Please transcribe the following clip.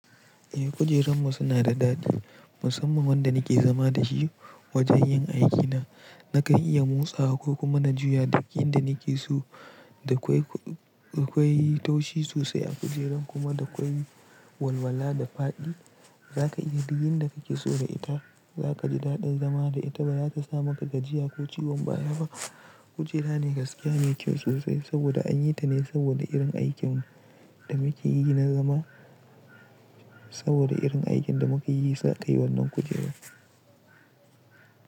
Eh, kujerunmu suna da daɗi musamman wanda nake zama da shi wajen yin aikina. Nakan iya motsawa ko kuma na juya duk inda nake so. Da kwai, da kwai yi taushi sosai a kujeran kuma da kwai yi walwala da faɗi. Zaka iya duk inda kake so da ita. Zaka ji daɗin zama da ita baya ta sa maka gajiya ko ciwon baya ba. Kujera ne gaskiya mai kyau sosai saboda an yi ta ne saboda irin aikin da muke yi na zama. Saboda irin aikin da muka yi aka yi wannan kujera.